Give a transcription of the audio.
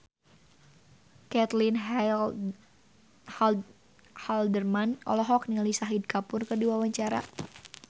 Caitlin Halderman olohok ningali Shahid Kapoor keur diwawancara